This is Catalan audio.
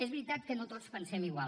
és veritat que no tots pensem igual